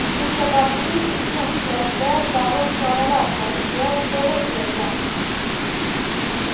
Shu sababli itni ushlashda zarur choralar ko‘rishga to‘g‘ri kelgan.